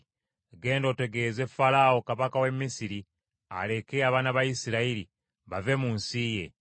“Genda otegeeze Falaawo kabaka w’e Misiri aleke abaana ba Isirayiri bave mu nsi ye.”